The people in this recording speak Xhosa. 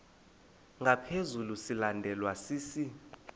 ngaphezu silandelwa sisi